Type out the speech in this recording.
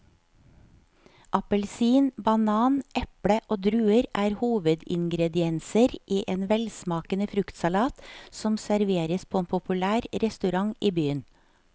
Appelsin, banan, eple og druer er hovedingredienser i en velsmakende fruktsalat som serveres på en populær restaurant i byen.